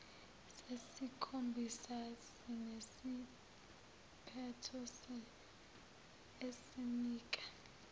sesikhombisa sinesiphetho esinika